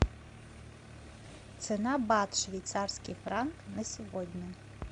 цена бат швейцарский франк на сегодня